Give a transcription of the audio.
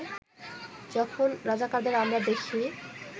যখন রাজাকারদের আমরা দেখি